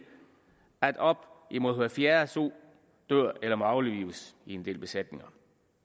at op imod hver fjerde so dør eller må aflives i en del besætninger